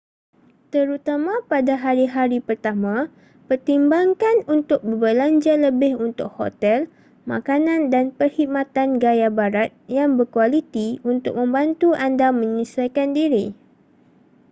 terutama pada hari-hari pertama pertimbangkan untuk berbelanja lebih untuk hotel makanan dan perkhidmatan gaya barat yang berkualiti untuk membantu anda menyesuaikan diri